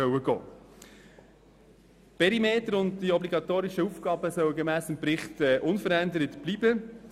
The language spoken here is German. Die Perimeter und die obligatorischen Aufgaben sollen gemäss Bericht unverändert bleiben.